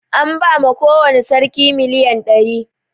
An ba ma kowani sarki miliyan ɗari